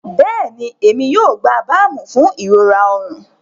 Bẹẹni, Emi yoo gba baamu fun irora ọrun.